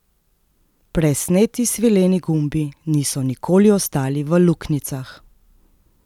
Presneti svileni gumbi niso nikoli ostali v luknjicah!